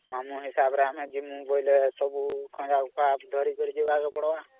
ମାମୁ ହିସାବ ରେ ଆମେ ଯିବୁ ବୋଇଲେ ସବୁ ଖଞ୍ଜା ବଥା ଧରିକିରି ଜୀବକେ ପଡିବା